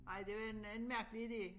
Nej det var en en mærkelig ide